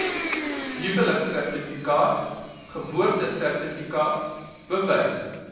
huweliksertifikaat geboortesertifikaat bewys